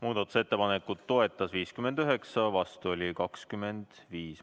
Muudatusettepanekut toetas 59, vastu oli 25.